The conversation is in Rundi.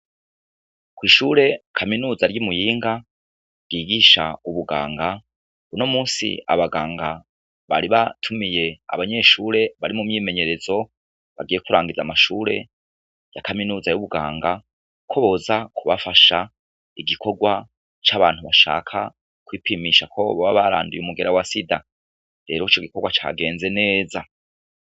Ko'ishure kaminuza ry'imuyinga ryigisha ubuganga buno musi abaganga bari batumiye abanyeshure bari mu myimenyerezo bagiye kurangiza amashure ya kaminuza y'ubwanga ko boza kubafasha igikorwa c'abantu bashaka koipimisha jakobo babaranduye umugera wa sida bero co gikorwa cagenze neza.